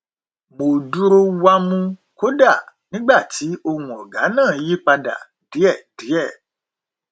mo dúró wámú kódà nígbà tí ohùn ọgá náà yí padà díẹdíẹ